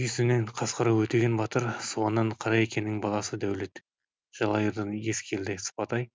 үйсіннен қасқарау өтеген батыр суаннан қараекенің баласы дәулет жалайырдан ескелді сыпатай